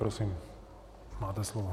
Prosím, máte slovo.